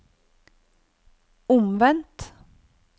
omvendt